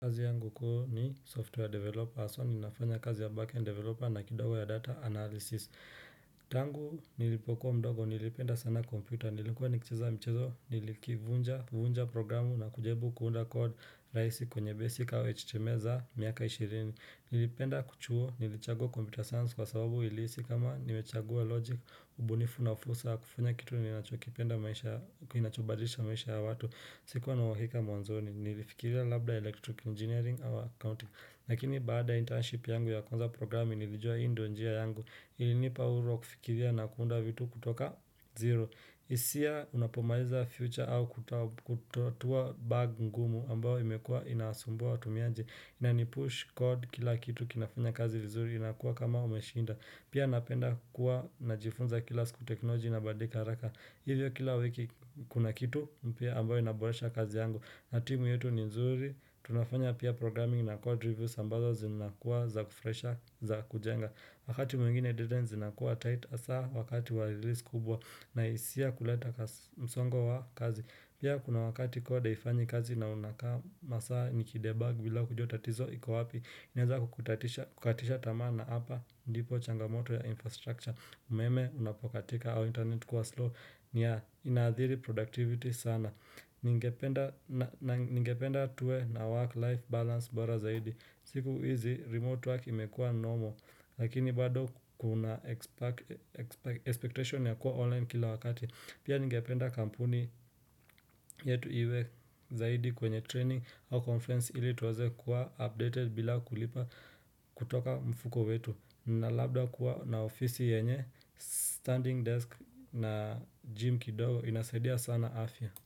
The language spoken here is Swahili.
Kazi yangu kuu ni software developer, so ninafanya kazi ya backend developer na kidogo ya data analysis. Tangu nilipokuwa mdogo, nilipenda sana kompyuta, nilikuwa nikichiza mchezo, nilikivunja programu na kujaribu kuunda code rahisi kwenye basic or html za miaka ishirini. Nilipenda kichuo, nilichagua computer science kwa sababu nilihisi kama nimechagua logic, ubunifu na fursa, kufunya kitu nilichokipenda maisha, kinachobadilisha maisha ya watu. Si kuwa na uhikika mwanzoni, nilifikiria labda electric engineering ama accounting lakini baada internship yangu ya kwanza programi nilijua hii ndio njia yangu ilinipa uhuru wa kufikiria na kuunda vitu kutoka zero hisia unapomaliza future au kutotua bug ngumu ambao imekua inasumbua watumiaji Inanipush code kila kitu kinafanya kazi vizuri inakuwa kama umeshinda Pia napenda kuwa najifunza kila siku technology inabadika haraka Hivyo kila wiki kuna kitu mpya ambayo inaboresha kazi yangu na timu yetu ni nzuri tunafanya pia programming na code reviews ambazo zinakuwa za kufurahisha za kujenga Wakati mwingine data zinakuwa tight hasa wakati wa release kubwa na hisia kuleta msongo wa kazi Pia kuna wakati kwa code haifanyi kazi na unakaama saa niki debug bila kujua tatizo iko wapi inaweza kukatisha tamaa na hapa ndipo changamoto ya infrastructure umeme unapokatika au internet kuwa slow nia inaathiri productivity sana Ningependa tuwe na work life balance bora zaidi siku hizi remote work imekua normal Lakini bado kuna expectation ya kuwa online kila wakati Pia ningependa kampuni yetu iwe zaidi kwenye training au conference ili tuweze kuwa updated bila kulipa kutoka mfuko wetu na labda kuwa na ofisi yenye standing desk na gym kidogo inasaidia sana afya.